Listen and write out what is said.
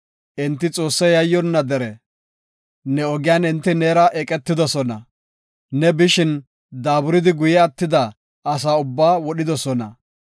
Enti Xoosse yayyonna dere; ne ogiyan enti neera eqetidosona. Ne bishin, daaburidi guye attida asa ubbaa wodhidosona.